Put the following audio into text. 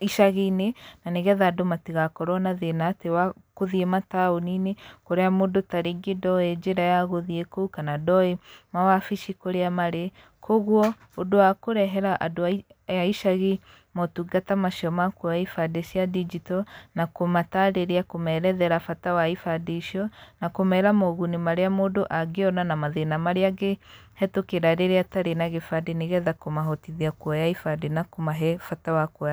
icaginĩ, na nĩgetha andũ matigakorwo na thĩna atĩ wa gũthiĩ mataũnini, kũrĩa mũndũ tarĩngĩ ndoĩ njĩra ya gũthiĩ kũu, kana ndoĩ mawabaci kũrĩa marĩ, koguo, ũndũ wa kũrehera andũ a a icahi motungata macio ma kuoya ibandĩ cia ndigito, na kũmatarĩria kũmerethera bata wa ibandĩ icio, na kũmera moguni marĩa mũndũ angĩona na mathina marĩa angĩhetũkĩra rĩrĩa atarĩ na gĩbandĩ nĩgetha kũmahotithia kuoya ibandĩ na kũmahe bata wa kuoya.